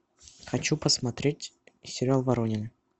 хочу посмотреть сериал воронины